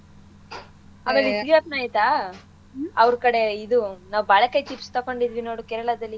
ಆಮೇಲೆ ಇದ್ ಗ್ಯಾಪ್ನ ಐತಾ ಅವ್ರ್ಕಡೆ ಇದು ನಾವ್ ಬಾಳೆಕಾಯಿ chips ತೊಗೊಂಡಿದ್ವಿ ನೋಡು ಕೇರಳದಲ್ಲಿ.